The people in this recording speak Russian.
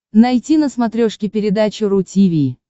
найти на смотрешке передачу ру ти ви